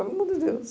Pelo amor de Deus